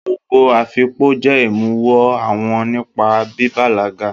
Ogo afikpo jẹ imuwọ̀ awo nípa bíbalaga.